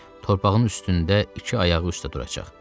Torpağın üstündə iki ayağı üstə duracaq.